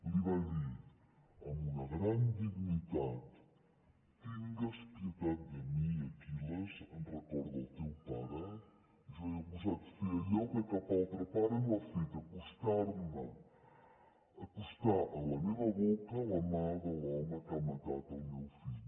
li va dir amb una gran dignitat tingues pietat de mi aquilles en record del teu pare jo he gosat fer allò que cap altre pare no ha fet acostar me acostar a la meva boca la mà de l’home que ha matat el meu fill